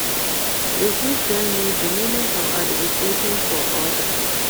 You fit tell me di meaning of advocating for odas?